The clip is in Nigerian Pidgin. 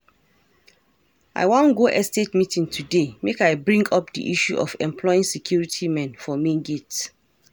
I wan go estate meeting today make I bring up the issue of employing security men for main gate.